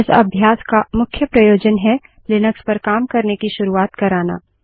इस अभ्यास का मुख्य प्रयोजन हैलिनक्स पर काम करने की शुरुआत कराना